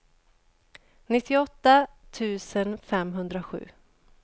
nittioåtta tusen femhundrasju